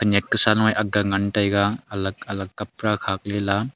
yaka sa lunge akga ngan taiga alag alag kapra khakle la.